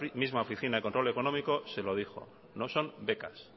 misma oficina de control económico se lo dijo que no eran becas